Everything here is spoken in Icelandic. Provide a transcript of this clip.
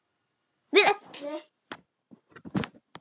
Við öllu.